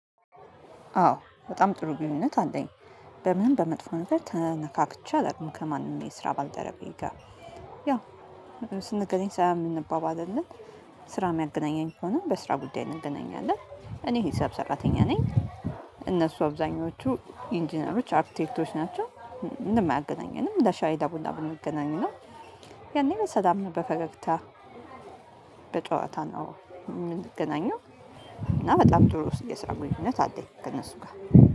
አዎ በጣም ጥሩ ግንኙነት አንደኝ በምንም በመጥፎ መታደር ተነካክቼ አይደለም ከማንም የስራ ባልደረቤ ጋር ያው ስንገናኝ ሳያምን አባባ አይደለም ስራ የሚያገናኘኝ ሆኖ በስራ ጉዳይ እንገናኛለን። እኔ ሂሳብ ሰራተኛ ነኝ። እነሱ አብዛኞቹ ኢንጂነሮች አርክቴክቶች ናቸው። እንደማያገናኘንም ለሻይዳ ቡና ቡና የሚገናኝ ነው። ያኔ ለሰላም በፈገግታ በጨዋታ ነው የምንገናኘው። እና በጣም ጥሩ የሰራ ግንኙነት አለኝ ከእነሱ ጋር